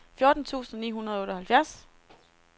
fjorten tusind ni hundrede og otteoghalvfjerds